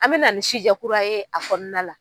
An bɛ na ni kura ye a kɔnɔna la.